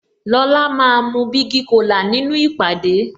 Lola máa mu bigi cola nínú ìpàdé